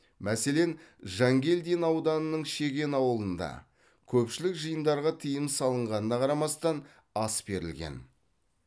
мәселен жангелдин ауданының шеген ауылында көпшілік жиындарға тыйым салынғанына қарамастан ас берілген